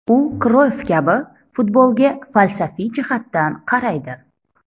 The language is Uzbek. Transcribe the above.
U Kroyff kabi futbolga falsafiy jihatdan qaraydi.